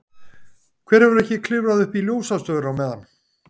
Hver hefur ekki klifrað upp í ljósastaur á meðan?